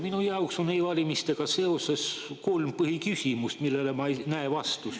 Minu jaoks on e-valimistega seoses kolm põhiküsimust, millele ma ei näe vastust.